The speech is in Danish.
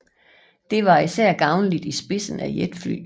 Det var især gavnligt i spidsen af jetfly